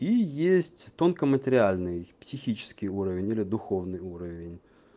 и есть тонко-материальный психический уровень или духовный уровень